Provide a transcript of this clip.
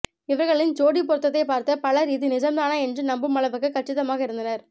இவர்களின் ஜோடிப் பொருத்தத்தை பார்த்து பலர் இது நிஜம்தானா என்று நம்பும் அளவுக்கு கச்சிதமாக இருந்தனர்